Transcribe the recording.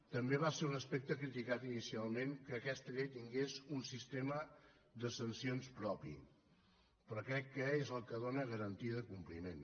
també va ser un aspecte criticat inicialment que aquesta llei tingués un sistema de sancions propi però crec que és el que dóna garantia de compliment